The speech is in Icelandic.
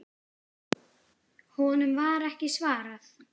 Honum var ekki svarað.